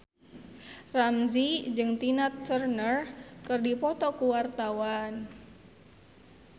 Ramzy jeung Tina Turner keur dipoto ku wartawan